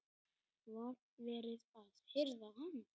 Var verið að hirða hann?